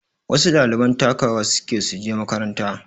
Wasu ɗaliban takawa suke suje makaranta